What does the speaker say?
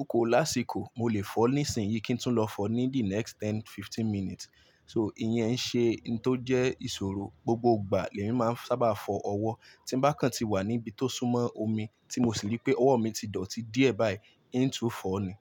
oko lásìkò mo lè fọ ní ìsìn yìí kí n tún lọ fọ ní the next ten fifteen minutes. So ìyẹn ṣe ń tó jẹ́ ìṣòro gbogbo ìgbà lẹ́yìn máa ń sábà fọ ọwọ́. Tí bá kan ti wà níbi tó súnmọ́ omi tí mo sì rí pé ọwọ́ mi ti dọ̀tí díẹ̀, bayii ihn tu fọ ni.